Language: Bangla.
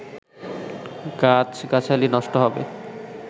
গাছ গাছালি নষ্ট হবে